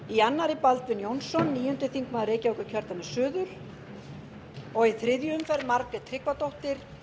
í annarri baldvin jónsson níundi þingmaður reykjavíkurkjördæmis suður og í þriðju umferð margrét tryggvadóttir